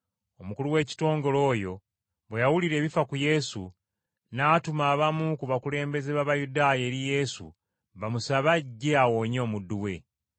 Omukulu w’ekitongole oyo bwe yawulira ebifa ku Yesu, n’atuma abamu ku bakulembeze b’Abayudaaya eri Yesu bamusabe ajje awonye omuddu we.